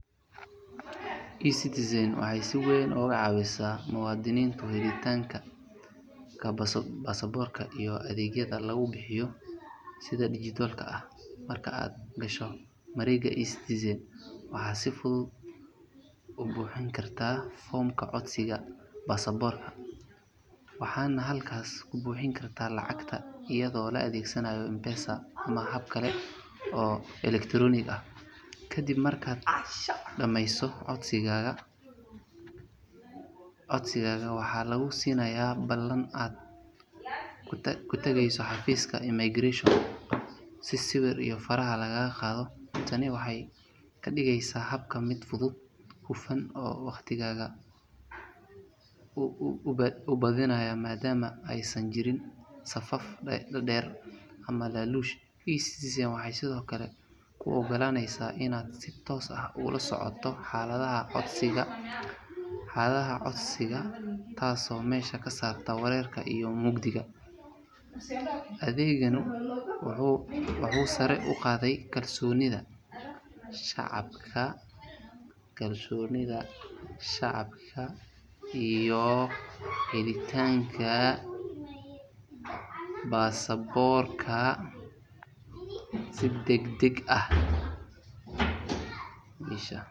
eCitizen waxay si weyn uga caawisaa muwaadiniinta helitaanka baasaboorka iyadoo adeegyada lagu bixiyo si dijitaal ah. Marka aad gasho mareegta eCitizen waxaad si fudud u buuxin kartaa foomka codsiga baasaboorka, waxaadna halkaas ku bixin kartaa lacagta iyadoo la adeegsanaayo M-Pesa ama habab kale oo elektaroonik ah. Kadib markaad dhamayso codsiga, waxaa lagu siinayaa ballan aad ku tagayso xafiiska immigration si sawir iyo faraha lagaa qaado. Tani waxay ka dhigeysaa habka mid fudud, hufan oo waqtigaaga u badbaadinaya maadaama aysan jirin safaf dhaadheer ama laaluush. eCitizen waxay sidoo kale kuu oggolaaneysaa inaad si toos ah ula socoto xaaladda codsigaaga taasoo meesha ka saarta wareerka iyo mugdiga. Adeeggan wuxuu sare u qaaday kalsoonida shacabka iyo helitaanka baasaboorka si degdeg ah.